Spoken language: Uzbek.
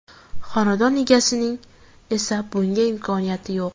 Xonadon egasining esa bunga imkoniyati yo‘q.